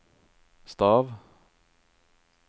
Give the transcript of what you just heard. stav